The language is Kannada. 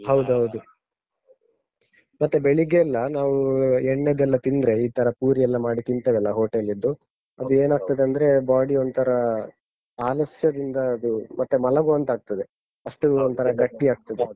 ಹೌದ್‍ಹೌದು ಮತ್ತೆ ಬೆಳಿಗ್ಗೆ ಎಲ್ಲ ನಾವು ಎಣ್ಣೆದೆಲ್ಲ ತಿಂದ್ರೆ, ಈ ತರ ಪೂರಿ ಎಲ್ಲ ಮಾಡಿ ತಿನ್ತೇವಲ್ಲ hotel ದ್ದು. ಅದು ಏನಾಗ್ತದಂದ್ರೆ, body ಒಂಥರಾ ಆಲಸ್ಯದಿಂದ ಅದು ಮತ್ತೆ ಮಲಗುವಾಂತಾಗ್ತದೆ. ಅಷ್ಟೂ ಒಂತರಾ ಗಟ್ಟಿ ಆಗ್ತದೆ.